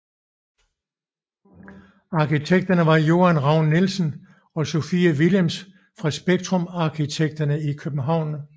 Arkitekterne var Joan Raun Nielsen og Sofie Willems fra Spektrum Arkitekter i København